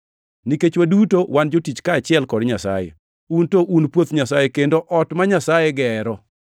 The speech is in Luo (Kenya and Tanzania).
Nikech waduto wan jotich kaachiel kod Nyasaye; un to un puoth Nyasaye kendo ot ma Nyasaye gero.